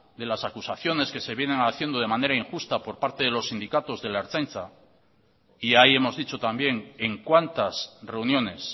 de las acusaciones que se vienen haciendo de manera injusta por parte de los sindicatos de la ertzaintza y ahí hemos dicho también en cuántas reuniones